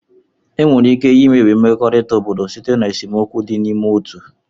Enwere ike imebi mmekọrịta obodo site na esemokwu dị n'ime otu.